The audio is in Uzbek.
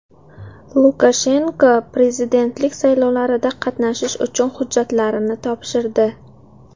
Lukashenko prezidentlik saylovlarida qatnashish uchun hujjatlarini topshirdi.